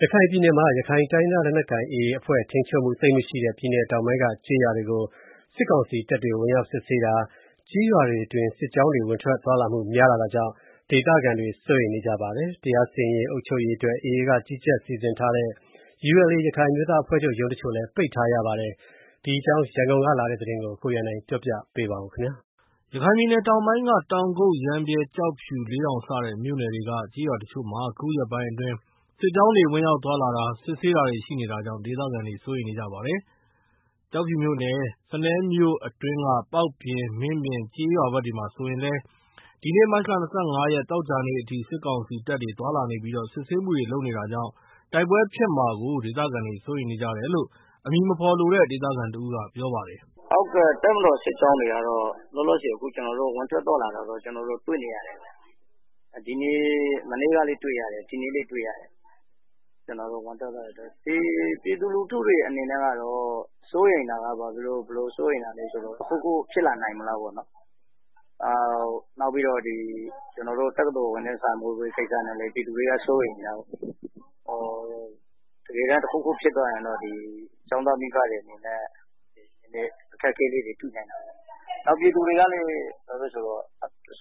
ရခိုင်ပြည်နယ်မှာ ရခိုင်တိုင်းရင်းသား လက်နက်ကိုင် AA အဖွဲ့ထိန်းချုပ်မှု သိပ်မရှိတဲ့ ပြည်နယ်တောင်ပိုင်းက ကျေးရွာတွေကို စစ်ကောင်စီတပ်တွေ ဝင်ရောက်စစ်ဆေးတာ၊ ကျေးရွာတွေအတွင်း စစ်ကြောင်းတွေ ဝင်ထွက်သွားလာမှု များလာတာကြောင့် ဒေသခံတွေ စိုးရိမ်နေကြပါတယ်။ တရားစီရင်ရေး၊ အုပ်ချုပ်ရေးအတွက် AA က ကြီးကြပ်စီစဉ်ထားတဲ့ ULA ရခိုင်အမျိုးသား အဖွဲ့ချုပ် ရုံးတချို့ကိုလည်း ပိတ်ထားရပါတယ်။ ဒီအကြောင်းအပြည့်အစုံ ရန်ကုန်ကလာတဲ့သတင်းကို ကိုရန်နိုင်က ပြောပြပါမယ်။ ရခိုင်ပြည်နယ်တောင်ပိုင်းက တောင်ကုတ်၊ ရမ်းဗြဲ၊ ကျောက်ဖြူ၊ လေးတောင် စတဲ့မြို့နယ်တွေက ကျေးရွာတချို့မှာ အခုရက်ပိုင်း အတွင်း စစ်ကြောင်းတွေ ဝင်ရောက် သွားလာတာ၊ စစ်ဆေးတာတွေရှိနေတာကြောင့် ဒေသခံတွေ စိုးရိမ်နေကြပါတယ်။ ကျောက်ဖြူမြို့နယ်၊ စနဲမြို့အတွင်းက ပေါက်ပြင်၊ မင်းပြင် ကျေးရွာဘက်ဆိုရင်လည်း ဒီနေ့ မတ်လ ၂၅ သောကြာနေ့အထိ စစ်ကောင်စီတပ်တွေ သွားလာနေပြီး စစ်ဆေးမှုတွေလည်း လုပ်နေတာကြောင့် တိုက်ပွဲဖြစ်ပွားမှာကို ဒေသခံတွေ စိုးရိမ်နေကြ တယ်လို့ အမည်မဖော်လိုတဲ့ ဒေသခံတဦးက ပြောပါတယ်။ “တပ်မတော်စစ်ကြောင်းတွေကတော့ ဝင်ထွက်သွားလာတာတွေတွေ့နေရတယ်။ မနေ့ကလည်း တွေ့ရတယ် ဒီနေ့လည်း တွေ့ရတယ်၊ ပြည်သူလူထုတွေ ဘာဖြစ်လို့ စိုးရိမ်လဲဆိုတော့ တခုခုဖြစ်လာနိုင်မလားပေါ့နော်၊ နောက်ပြီးတော့ ကျနော်တို့ တက္ကသိုလ်ဝင်တန်းစာမေးပွဲ စစ်ခါနီးပြီဆိုတော့ ပြည်သူတွေက စိုးရိမ်နေတာပေါ့၊ တကယ်လို့ တခုခုဖြစ်ခဲ့ရင် ကျောင်းသားမိဘတွေအနေနဲ့ အခက်အခဲလေးတွေ တွေ့နိုင်တာပေါ့၊ ပြည်သူတွေကလည်း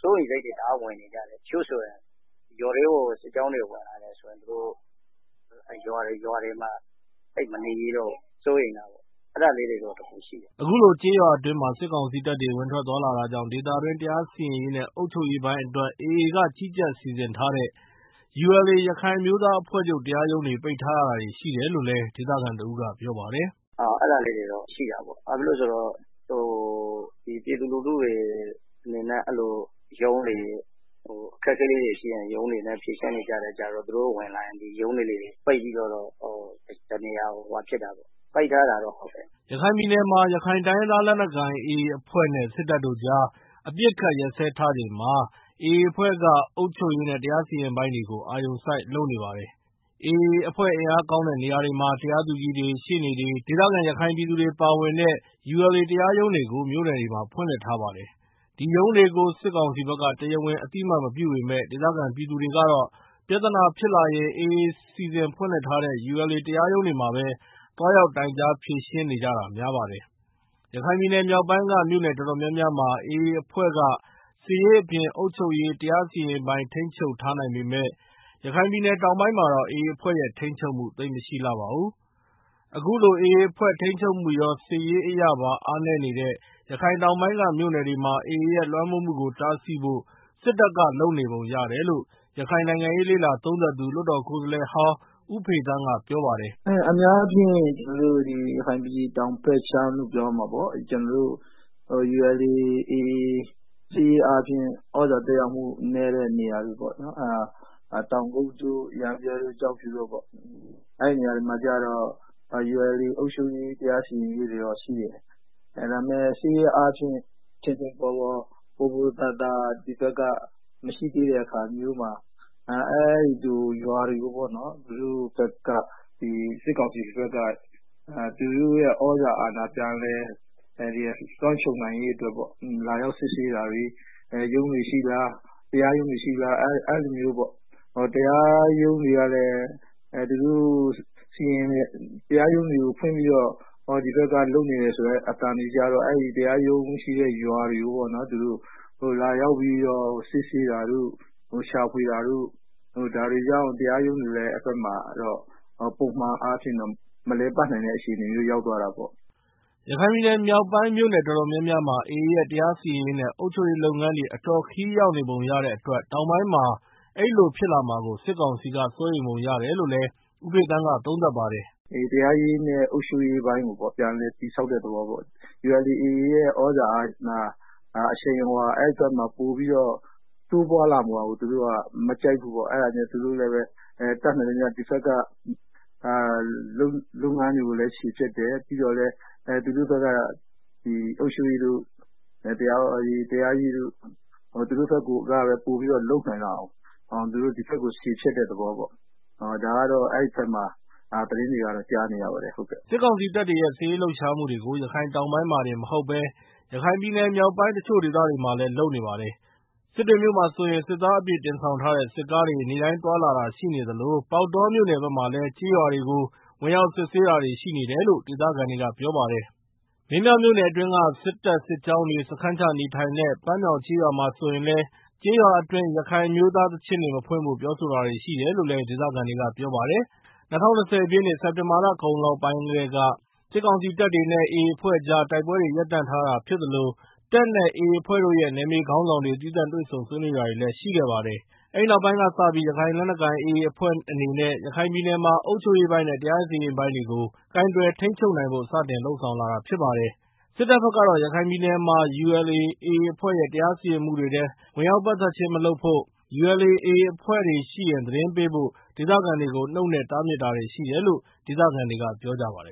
စိုးရိမ်စိတ်တွေ တအားဝင်နေကြတယ်၊ တချို့ဆိုရင် ရွာထဲကို စစ်ကြောင်းတွေဝင်လာရင် ရွာတွေမှာ သိပ်မနေရဲတော့ဘူး။ စိုးရိမ်ကြတာပေါ့။” အခုလို ကျေးရွာတွေအတွင်း စစ်ကောင်စီတပ်တွေ ဝင်ထွက်သွားလာနေတာကြောင့် ဒေသတွင်း တရားစီရင်ရေးနဲ့ အုပ်ချုပ်ရေး ပိုင်းအတွက် AA က ကြီးကြပ်စီစဉ်ထားတဲ့ ULA ရခိုင်အမျိုးသားအဖွဲ့ချုပ် တရားရုံးတွေကို ပိတ်ထားရတာတွေရှိတယ်လို့လည်း ဒေသခံတဦးက ပြောပါတယ်။ “အဲဒါလေးတွေတော့ ရှိတာပေါ့။ ဘာဖြစ်လို့လဲဆိုတော့ ပြည်သူလူထုတွေ အခက်အခဲတွေရှိရင် ULA ရုံးမှာ ဖြေရှင်းနေကြ ဆိုတော့ သူတို့ဝင်လာရင် ရုံးတွေကိုပိတ်ပြီး တနေရာကို ရှောင်ကြတာပေါ့ ပိတ်ထားတာတော့ဟုတ်တယ်။” ရခိုင်ပြည်နယ်မှာ ရခိုင်တိုင်းရင်းသားလက်နက်ကိုင် AA အဖွဲနဲ့ စစ်တပ်တို့ကြား အပစ် အခတ်ရပ်စဲထားချိန်မှာ AA အဖွဲ့က အုပ်ချုပ်ရေးနဲ့ တရားစီရင်ရေးပိုင်းတွေကို အာရုံစိုက် လုပ်နေပါတယ်။ AA အင်အားကောင်းတဲ့နေရာတွေမှာ တရားသူကြီးတွေ၊ ရှေ့နေ တွေ၊ ဒေသခံ ရခိုင်ပြည်သူတွေပါဝင်တဲ့ ULA တရားရုံးတွေကိုလည်း မြို့ နယ်တွေမှာ ဖွင့်လှစ်ထားပါတယ်။ ဒီရုံးတွေကို စစ် ကောင်စီဘက်က တရားဝင် အသိအမှတ်မပြုပေမဲ့ ဒေသခံပြည်သူတွေကတော့ ပြဿနာဖြစ်လာရင် AA စီစဉ်ဖွင့်ထားတဲ့ ULA တရားရုံးတွေမှာပဲ သွားရောက်တိုင်ကြား ဖြေရှင်းနေကြတာများပါတယ်။ ရခိုင်ပြည်နယ်မြောက်ပိုင်းက မြို့နယ်တော်တော်များများမှာ AA အဖွဲ့က စစ်ရေးအပြင် အုပ်ချုပ်ရေး၊ တရားစီရင်ရေးပိုင်း ထိန်းချုပ်ထားနိုင်ပေမယ့် ရခိုင်ပြည်နယ်တောင်ပိုင်းမှာတော့ AA အဖွဲ့ရဲ့ထိန်းချုပ်မှု သိပ်မရှိလှပါဘူး။ အခုလို AA အဖွဲ့ထိန်းချုပ်မှုရော စစ်ရေး အရပါ အားနည်းနေတဲ့ ရခိုင်တောင်ပိုင်းကမြို့နယ်တွေမှာ AA ရဲ့လွှမ်းမိုးမှုကို တားဆီးဖို့ စစ်တပ်က လုပ်နေပုံရတယ်လို့ ရခိုင်နိုင်ငံရေးလေ့လာသုံးသပ်သူ လွှတ်တော်ကိုယ်စားလှယ်ဟောင်း ဦးဖေသန်းက ပြောပါတယ်။ “အများအားဖြင့် ကျနော်တို့ ရခိုင်ပြည်နယ် တောင်ဘက်ခြမ်းလို့ပြောရမှာပေါ့၊ ULA/AA သြဇာသက်ရောက်မှု နည်းတဲ့နေရာတွေ ဖြစ်တဲ့ တောင်ကုတ်တို့ ရမ်းဗြဲတို့ ကျောက်ဖြူတို့ပေါ့၊ အဲဒီနေရာမှာ ULA အုပ်ချုပ်ရေး တရားစီရင်ရေးတွေတော့ ရှိတယ်၊ ဒါပေမယ့် စစ်ရေးအားဖြင့် ပိုပိုသာသာ ဒီဘက်က မရှိသေးတဲ့အခါ အဲဒီကရွာတွေကို စစ်ကောင်စီဘက်က သူတို့ရဲ့သြဇာအာဏာ လွှမ်းခြုံနိုင် ရေးအတွက်ပေါ့၊ လာရောက်စစ်ဆေးတာတွေ ရုံးတွေရှိလား၊ တရားရုံးတွေဖွင့်ပြီးတော့ ဒီဘက်က လုပ်နေတယ်ဆိုတဲ့အသံကို ကြားတော့ တရားရုံးရှိတဲ့ရွာတွေကို သူတို့လာရောက်ပြီးတော့ စစ်ဆေးတာတို့ ရှာဖွေတာတို့ အဲဒါကြောင့် တရားရုံးတွေတော့ အဲဘက်မှာ ပုံမှန်အားဖြင့် မလည်ပတ်နိုင်တဲ့ အခြေအနေမျိုး ရောက်သွားတာပေါ့။” ရခိုင်ပြည်နယ်မြောက်ပိုင်း မြို့နယ်တော်တော်များများမှာ AA ရဲ့တရားစီရင်ရေးနဲ့ အုပ်ချုပ်ရေးလုပ်ငန်းတွေ အတော် ခရီးရောက် နေပုံရတဲ့အတွက် တောင်ပိုင်းမှာ အဲလိုဖြစ်လာမှာကို စစ်ကောင်စီက စိုးရိမ်ပုံရတယ်လို့လည်း ဦးဖေသန်းက သုံးသပ်ပါတယ်။ “တရားရေးနဲ့ အုပ်ချုပ်ရေးပိုင်းကို ပြန်လည်တည်ဆောက်တဲ့သဘောပေါ့၊ ULA/AA ရဲ့ သြဇာအာဏာ အဲဒီဘက်မှာ ပိုပြီးတော့ တိုးလာမှာကို သူတို့ကမကြိုက်ဘူးပေါ့၊ အဲဒါကြောင့် သူတို့က ဒီဘက်က လုပ်ငန်းတွေကိုလည်း ခြေဖျက်တယ်၊ ပြီးတော့ သူတို့ ဘက်က အုပ်ချုပ်ရေးတို့ တရားရေးတို့ကို သူတို့က ပိုပြီးတော့ လုပ်နိုင်လာအောင် ဒီဘက်ကို ခြေဖျက်တဲ့သဘောပေါ့။” စစ်ကောင်စီတပ်တွေရဲ့ စစ်ရေးလှုပ်ရှားမှုတွေကို ရခိုင်တောင်ပိုင်းမှာတင်မဟုတ်ဘဲ ရခိုင်ပြည်နယ်မြောက်ပိုင်းက တချို့ဒေသတွေ မှာလည်း လုပ်နေပါတယ်။ စစ်တွေမြို့မှာဆိုရင် စစ်သားအပြည့်တင်ဆောင်ထားတဲ့ စစ်ကားတွေ နေ့တိုင်း သွားနေတာရှိသလို ပေါက်တောမြို့နယ်ဘက်မှာလည်း ကျေးရွာတွေကို ဝင်ရောက်စစ်ဆေးတာတွေရှိနေတယ်လို့ ဒေသခံတွေက ပြောကြပါတယ်။ မင်းပြားမြို့နယ်အတွင်းက စစ်တပ်စစ်ကြောင်းတွေ စခန်းချနေထိုင်တဲ့ ပန်းမြောင်းကျေးရွာမှာဆိုရင်လည်း ကျေးရွာအတွင်း ရခိုင်အမျိုသားသီချင်းတွေ မဖွင့်ဖို့ ပြောဆိုတာတွေရှိတယ်လို့လည်း ဒေသခံတွေကပြောပါတယ်။ ၂၀၂၀ ပြည့်နှစ်၊ စက်တင်ဘာ လကုန်ပိုင်းလောက်ကတည်းက တပ်မတော်နဲ့ AA အဖွဲ့ကြားတို က်ပွဲတွေ ရပ်တန့်ထားတာ ဖြစ်သလို တပ်နဲ့ AA အဖွဲ့တို့ရဲ့ နယ်မြေခေါင်းဆောင်တွေ သီးသန့် တွေ့ဆုံးဆွေးနွေးတာတွေလည်း ရှိခဲ့ပါတယ်။ အဲဒီနောက်ပိုင်းကစပြီး ရခိုင်လက်နက်ကိုင် AA အဖွဲ့အနေနဲ့ ရခိုင်ပြည်နယ်မှာ အုပ်ချုပ်ရေးပိုင်းနဲ့ တရားစီရင်ရေးပိုင်းတွေကို ကိုင်တွယ် ထိန်းချုပ်နိုင်ဖို့ စတင်လုပ်ဆောင်လာတာဖြစ်ပါတယ်။ စစ်တပ်ဘက်ကတော့ ရခိုင်ပြည်နယ်မှာ ULA/ AA အဖွဲ့ရဲ့ တရားစီရင်မှုတွေထဲ ဝင်ရောက်ပတ်သက်ခြင်း မလုပ်ဖို့၊ ULA/AA အဖွဲ့ဝင်တွေရှိရင် သတင်းပေးဖို့ ဒေသခံတွေကို နှုတ်နဲ့တားမြစ်တာတွေ ရှိတယ်လို့ ဒေသခံတွေက ပြောကြပါတယ်